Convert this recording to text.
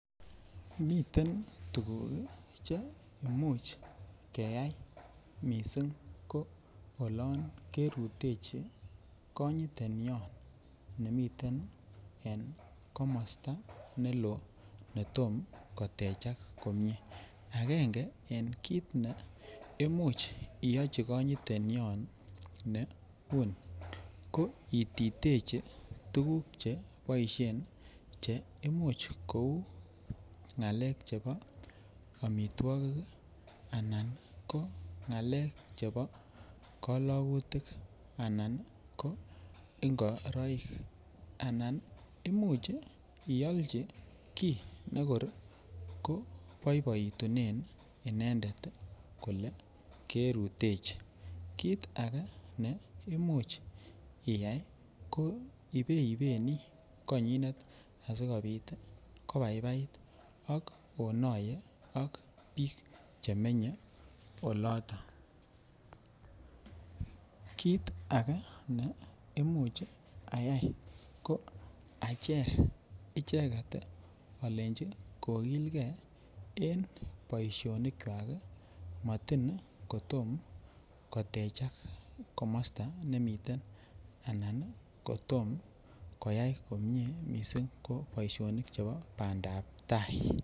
Miten tuguk Che Imuch keyai mising ko olon Ke rutechi konyitenyon nemiten en komosta neloo netom kotechak komie agenge en kit ne Imuch iyochi konyitenyon ne uni ko ititechi tuguk Che boisien Che Imuch ko u ngalekab amitwogik Anan ngalekab koligutik anan ngoroik anan ko Imuch ialchi kit ne kor ko boiboitunen inendet kole Ke rutechi kit ake ne Imuch iyai ko iboi benii konyin asikobit kobaibait ak onoye ak Biik Che menye oloto kit ake ne Imuch ayai ko acher icheget alenji kogilgei en boisionikwak Matin kotom kotechak komosta nemiten Anan kotom koyai komie mising en boisionik chebo bandap tai